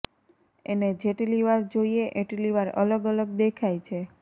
એને જેટલી વાર જોઈએ એટલી વાર અલગ અલગ દેખાય છે